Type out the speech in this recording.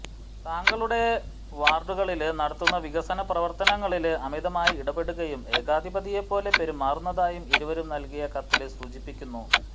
തങ്ങളുടെ വാര്ഡുകളില് നടത്തുന്ന വികസന പ്രവര്ത്തനങ്ങളില് അമിതമായി ഇടപെടുകയും ഏകാധിപതിയെപ്പോലെ പെരുമാറുന്നതായും ഇരുവരും നല്കിയ കത്തില് സൂചിപ്പിക്കുന്നു